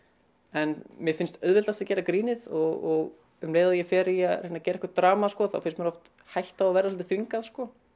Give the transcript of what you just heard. en mér finnst auðveldast að gera grínið og um leið og ég fer í að reyna að gera eitthvað drama þá finnst mér hætta á að það svolítið þvingað